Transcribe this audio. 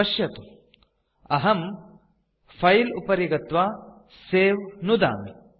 पश्यतु अहं फिले उपरि गत्वा सवे नुदामि